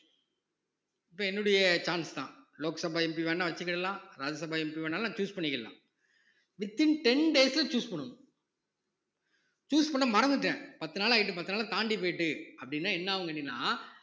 இப்ப என்னுடைய chance தான் லோக் சபா MP வேணா வச்சுக்கிடலாம் ராஜ்யசபா MP வேணாலும் நான் choose பண்ணிக்கலாம் within ten days ல choose பண்ணனும் choose பண்ண மறந்துட்டேன் பத்து நாள் ஆயிட்டு பத்து நாள் தாண்டி போயிட்டு அப்படீன்னா என்ன ஆகும் கேட்டீங்கனா